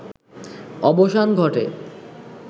অবসান ঘটে